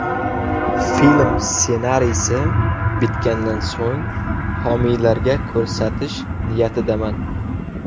Film ssenariysi bitgandan so‘ng, homiylarga ko‘rsatish niyatidaman.